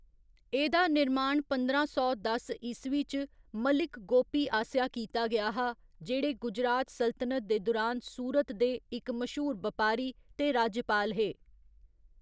एह्‌‌‌दा निर्माण पंदरां सौ दस ईस्वी च मलिक गोपी आसेआ कीता गेआ हा, जेह्‌‌ड़े गुजरात सल्तनत दे दुरान सूरत दे इक मश्हूर बपारी ते राज्यपाल हे।